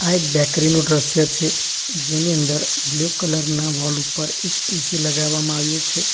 આ એક બેકરી નું દ્રશ્ય છે જેની અંદર બ્લુ કલર ના વૉલ ઉપર એક એ_સી લગાવવામાં આવ્યું છે.